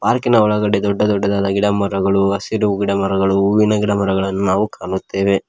ಪಾರ್ಕಿ ನ ಒಳಗಡೆ ದೊಡ್ಡ ದೊಡ್ಡದಾದ ಗಿಡ ಮರಗಳು ಹಸಿರು ಗಿಡ ಮರಗಳು ಹೂವಿನ ಗಿಡಮರಗಳನ್ನು ನಾವು ಕಾಣುತ್ತೇವೆ.